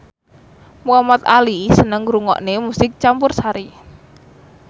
Muhamad Ali seneng ngrungokne musik campursari